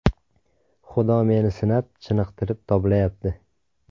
Xudo meni sinab, chiniqtirib toblayapti.